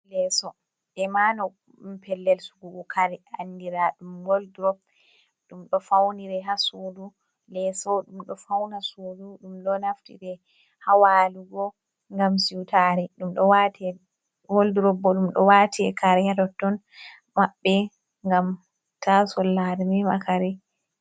Leeso be mano pellel sigugo kare anndira ɗum woldurop. Ɗum ɗo fawniri haa suudu, leeso ɗumɗo fawna suudu ɗum ɗo naftiri haa walugo, ngam siwtaare. Woldrobo ɗum ɗo waate kare haa totton, maɓɓe ngam ta sollare mema kare.